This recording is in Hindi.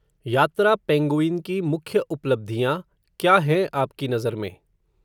यात्रा पेंगुइन की मुख्य उपलब्धियां, क्या हैं आपकी नज़र में